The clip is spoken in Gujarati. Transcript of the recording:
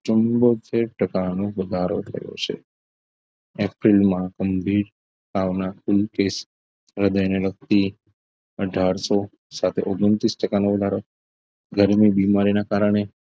ચુંમોતેર ટકા નો વધારો થયો છે એપ્રિલમાં ગંભીર તાવના કુલ કેસ અને એને લગતી અઠારસો સાથે ઓગન્તીસ ટકા નો વધારો ગરમી બીમારીના કારણે